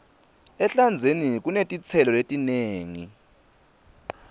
ehlandzeni kunetitselo letinengi